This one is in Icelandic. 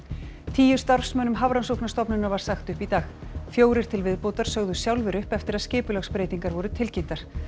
tíu starfsmönnum Hafrannsóknastofnunar var sagt upp í dag fjórir til viðbótar sögðu sjálfir upp eftir að skipulagsbreytingar voru tilkynntar